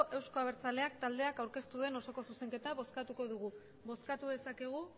euzko abertzaleak taldeak aurkeztu duen osoko zuzenketa bozkatuko dugu bozkatu dezakegu